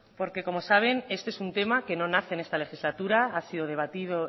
como saben este es un tema que no nace en esta legislatura ha sido debatido